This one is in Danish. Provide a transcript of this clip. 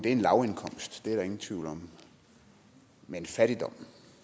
en lavindkomst det er der ingen tvivl om men fattigdom